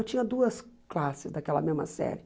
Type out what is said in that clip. Eu tinha duas classes daquela mesma série.